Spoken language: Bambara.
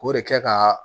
K'o de kɛ ka